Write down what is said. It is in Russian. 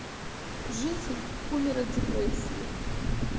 житель умер от депрессии